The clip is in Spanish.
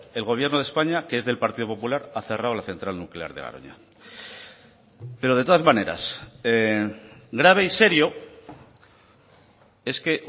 el gobierno de españa que es del partido popular ha cerrado la central nuclear de garoña pero de todas maneras grave y serio es que